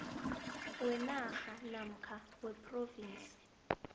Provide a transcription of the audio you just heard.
wenarha namkha wephrovinsi